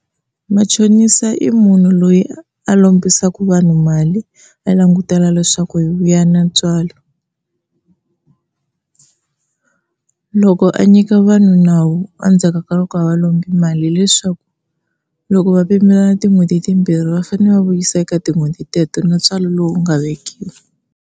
Machonisa i munhu loyi a lombisaka vanhu mali va langutela leswaku yi vuya na ntswalo. Loko a nyika vanhu nawu endzhaku ka loko a va lombi mali leswaku loko va pimelana tin'hweti timbirhi va fanele va vuyiselana eka tin'hweti teto na ntswalo lowu nga vekiwa.